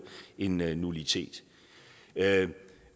en nullitet